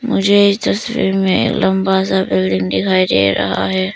मुझे इस तस्वीर में लंबा सा बिल्डिंग दिखाई दे रहा है।